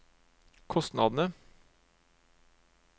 kostnadene